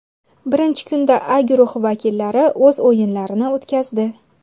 Birinchi kunda A guruhi vakillari o‘z o‘yinlarini o‘tkazdi.